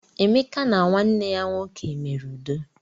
Emeka na nwanne ya nwoke mere udo.